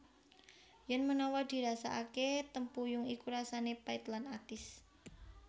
Yèn menawa dirasakakè tempuyung iku rasanè pait lan atis